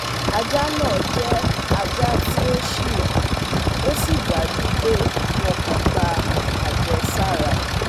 Ajá náà jẹ́ ajá tí ó ṣìnà ó sì dájú pé wọn kò gba àjẹsára